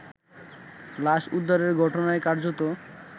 লাশ উদ্ধারের ঘটনায় কার্যত